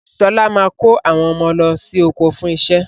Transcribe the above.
Sọlá máa kó àwọn ọmọ lọ sí oko fún iṣẹ́.